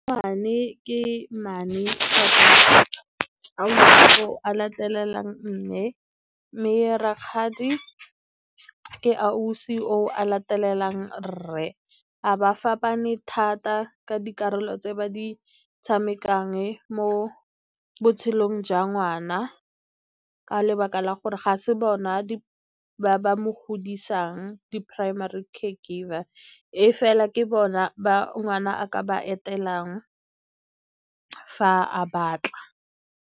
ke mmane latelelang mme, mme rakgadi ke ausi o a latelelang rre. Ga ba fapane thata ka dikarolo tse ba di tshamekang mo botshelong jwa ngwana ka lebaka la gore ga se bona ba ba mo godisang, ke primary caregiver e fela ke bona ba ngwana a ka ba etelelang fa a batla.